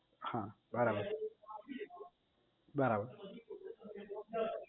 હા બરાબર બરાબર